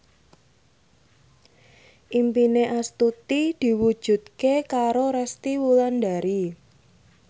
impine Astuti diwujudke karo Resty Wulandari